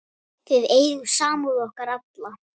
Þið eigið samúð okkar alla.